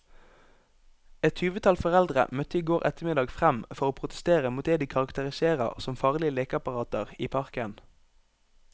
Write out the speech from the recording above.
Et tyvetall foreldre møtte i går ettermiddag frem for å protestere mot det de karakteriserer som farlige lekeapparater i parken.